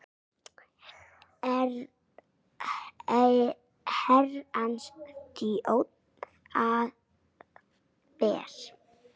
Herrans þjónn það ber.